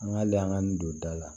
An ka hali an ka n don da la